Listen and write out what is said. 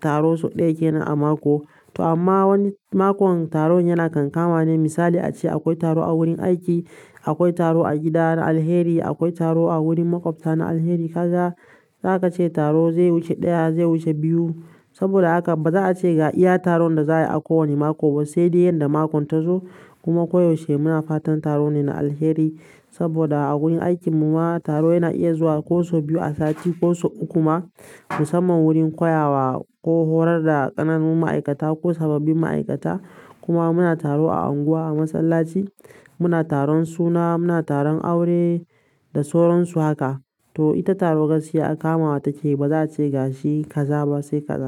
taro sau ɗaya kenan a mako. To amma wani makon taron yana kankama ne. Misali ace akwai taro a wurin aiki, akwai taro a gida na alheri, akwai taro a wurin maƙwabta na alheri. Kaga za ka ce taro zai wuce ɗaya zai wuce biyu. Saboda haka ba za a ce ga iya taron da za a yi a kowane mako ba sai dai yanda makon ta zo. Kuma koyaushe muna fatan taro ne na alheri. Saboda a wurin aikin mu ma taro yana iya zuwa ko sau biyu a sati ko sau uku ma musamman wurin koyawa ko horar da ƙananun ma'aikata ko sababbin ma'aikata. Kuma muna taro a unguwa, a masallaci, muna taron suna, muna taron aure da sauransu haka. To ita taro gaskiya kamawa take yi. Ba za a ce ga shi kaza ba sai kaza.